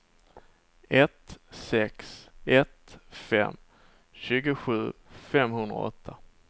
ett sex ett fem tjugosju femhundraåtta